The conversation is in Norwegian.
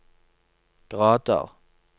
grader